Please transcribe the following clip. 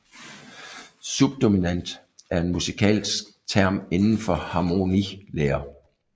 Subdominant er en musikalsk term inden for harmonilære